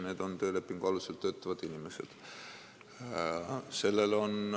Need on töölepingu alusel töötavad inimesed.